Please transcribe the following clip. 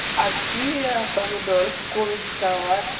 активия помидор кукуруза салат